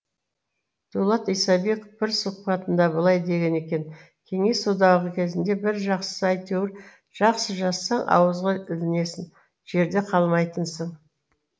дулат исабеков бір сұхбатында былай деген екен кеңес одағы кезінде бір жақсысы әйтеуір жақсы жазсаң ауызға ілінесің жерде қалмайтынсың